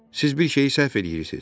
Siz bir şeyi səhv eləyirsiniz.